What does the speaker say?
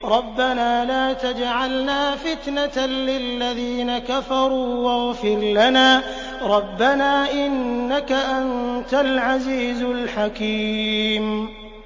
رَبَّنَا لَا تَجْعَلْنَا فِتْنَةً لِّلَّذِينَ كَفَرُوا وَاغْفِرْ لَنَا رَبَّنَا ۖ إِنَّكَ أَنتَ الْعَزِيزُ الْحَكِيمُ